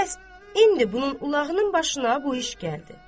Bəs indi bunun ulağının başına bu iş gəldi.